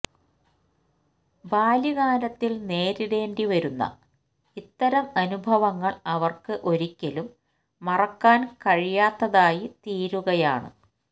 ബാല്യകാലത്തിൽ നേരിടേണ്ടി വരുന്ന ഇത്തരം അനുഭവങ്ങൾ അവർക്ക് ഒരിക്കലും മറക്കാൻ കഴിയാത്തതായി തീരുകയാണ്